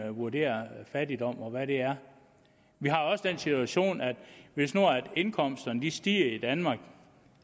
vurderer fattigdom og hvad det er vi har også den situation at hvis nu indkomsterne stiger i danmark